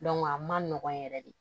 a man nɔgɔn yɛrɛ de